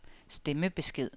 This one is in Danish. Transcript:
stemmebesked